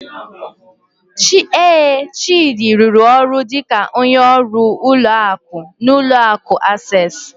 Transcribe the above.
Ee, Chidi rụrụ ọrụ dịka onye ọrụ ụlọ akụ n'ụlọ akụ Access.